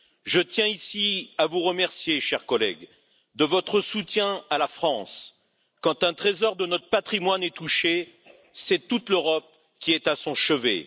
Je tiens ici à vous remercier, chers collègues, de votre soutien à la France. Quand un trésor de notre patrimoine est touché, c'est toute l'Europe qui est à son chevet.